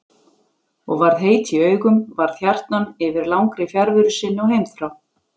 Og varð heit í augum, varð hjartnæm yfir langri fjarveru sinni og heimþrá.